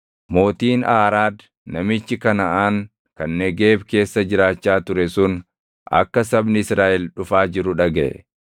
Mootiin Aaraad namichi Kanaʼaan kan Negeeb keessa jiraachaa ture sun akka sabni Israaʼel dhufaa jiru dhagaʼe.